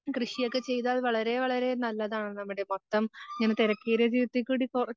കൃഷിയൊക്കെ ചെയ്താൽ വളരെ വളരെ നല്ലതാണ് നമ്മടെ മൊത്തം ഇങ്ങനെ തെരക്കുള്ള ജീവിതത്തിൽ കൂടി പോ